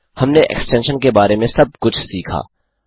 हमने एक्सटेंशन के बारे में सब कुछ सीखा